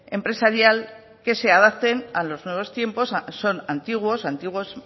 empresarial que se adapten a los nuevos tiempos son antiguos antiguos